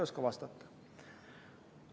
Ma ei oska vastata.